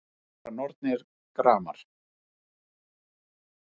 Þeim sundra nornir gramar